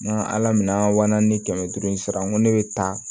N ka ala minɛ an na ni kɛmɛ duuru in sara n ko ne bɛ taa